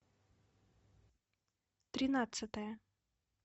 тринадцатая